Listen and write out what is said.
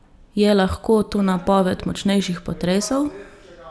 Je lahko to napoved močnejših potresov?